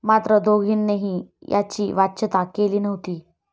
मात्र दोघांनीही याची वाच्यता केली नव्हती.